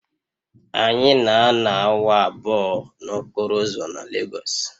Anyị na-anọ awa abụọ n'okporo ụzọ na Legosu